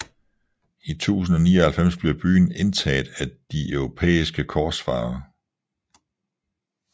I 1099 blev byen indtaget af de europæiske korsfarere